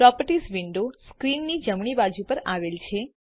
properties window સ્ક્રીનની જમણી બાજુ પર આવેલ છે